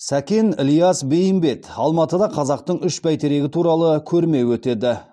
сәкен ілияс бейімбет алматыда қазақтың үш бәйтерегі туралы көрме өтеді